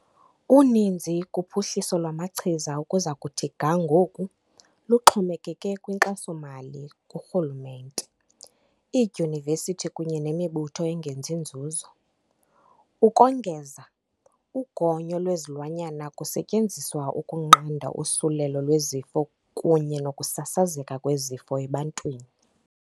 Uninzi kuphuhliso lwamachiza ukuza kuthi ga ngoku luxhomekeke kwinkxaso-mali kurhulumente, iidyunivesithi kunye nemibutho engenzi nzuzo. Ukongeza, ugonyo lwezilwanyana kusetyenziswa ukunqanda usulelo lwezifo kunye nokusasazeka kwezifo ebantwini.